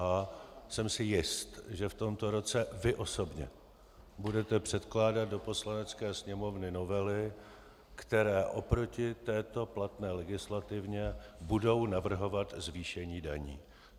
A jsem si jist, že v tomto roce vy osobně budete předkládat do Poslanecké sněmovny novely, které oproti této platné legislativě budou navrhovat zvýšení daní.